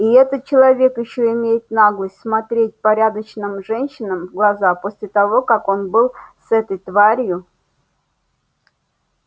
и этот человек ещё имеет наглость смотреть порядочным женщинам в глаза после того как он был с этой тварью